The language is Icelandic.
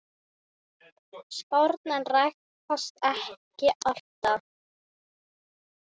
Spárnar rætast ekki alltaf.